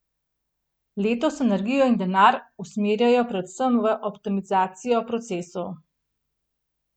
Letos energijo in denar usmerjajo predvsem v optimizacijo procesov.